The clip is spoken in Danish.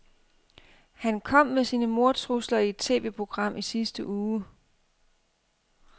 Han kom med sine mordtrusler i et TVprogram i sidste uge.